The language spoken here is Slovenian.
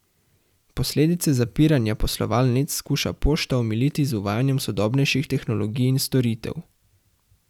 Posledice zapiranja poslovalnic skuša Pošta omiliti z uvajanjem sodobnejših tehnologij in storitev.